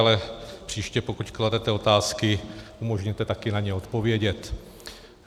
Ale příště, pokud kladete otázky, umožněte taky na ně odpovědět.